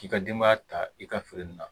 K'i ka denbaya ta i ka feere nin na